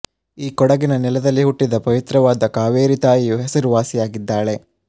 ಈ ಕೊಡಗಿನ ನೆಲದಲ್ಲಿ ಹುಟ್ಟಿದ ಪವಿತ್ರವಾದ ಕಾವೇರಿ ತಾಯಿಯು ಹೆಸರುವಾಸಿಯಾಗಿದ್ದಾಳೆ